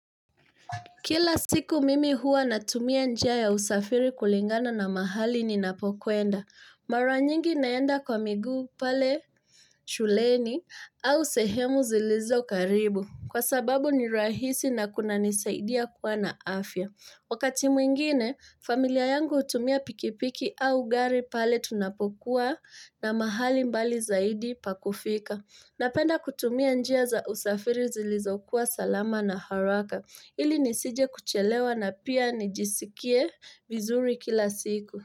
Kila siku mimi huwa natumia njia ya usafiri kulingana na mahali ni napokwenda. Mara nyingi naenda kwa miguu pale shuleni au sehemu zilizo karibu kwa sababu ni rahisi na kunanisaidia kuwa na afya. Wakati mwingine, familia yangu utumia pikipiki au gari pale tunapokuwa na mahali mbali zaidi pakufika. Napenda kutumia njia za usafiri zilizokuwa salama na haraka. Ili nisije kuchelewa na pia nijisikie vizuri kila siku.